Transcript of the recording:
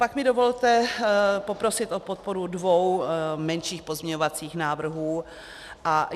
Pak mi dovolte poprosit o podporu dvou menších pozměňovacích návrhů.